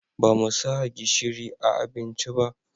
Ba mu sa gishiri a abincin ba